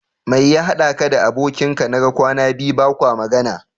Mai ya haɗa ka da abokin ka naga kwana biyu bakwa magana?